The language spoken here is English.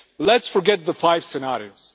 Let us forget the five scenarios.